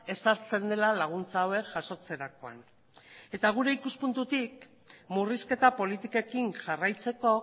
ezartzen dela laguntza hauek jasotzerakoan eta guri ikuspuntutik murrizketa politikekin jarraitzeko